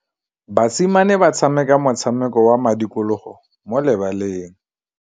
Basimane ba tshameka motshameko wa modikologô mo lebaleng.